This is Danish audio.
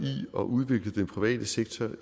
at udvikle den private sektor